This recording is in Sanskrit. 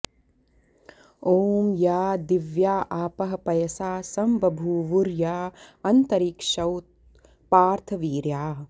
ॐ या दिव्या आपः पयसा संबभूवुर्या अन्तरिक्षौत पार्थवीर्याः